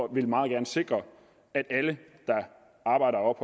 og vil meget gerne sikre at alle der arbejder og